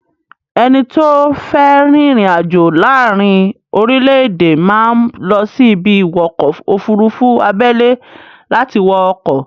Ẹni tó fé ri ìrìn àjò láàárí orílẹ̀-èdè máa ń lọ sí ibi-ìwọkọ̀-òfurufú abẹ́lẹ́ láti wọ ọkọ̀.